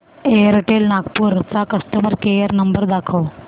Airtel Nagpur चा customer care number दाखव